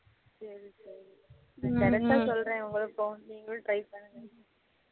கிடைச்சா சொல்லுறேன் உங்களுக்கும் நீங்களும் try பண்ணுங்க